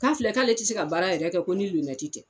K'a filɛ k'ale ti se ka baara yɛrɛ kɛ ko ni lonɛti tɛ